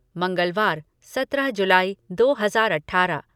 मंगलवार, सत्रह जुलाई दो हज़ार अठारह